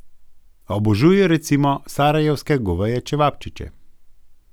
Obožuje recimo sarajevske goveje čevapčiče.